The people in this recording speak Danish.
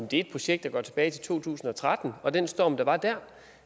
det er et projekt der går tilbage til to tusind og tretten og den storm der var der